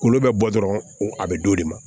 K'olu bɛ bɔ dɔrɔn a bɛ d'o de ma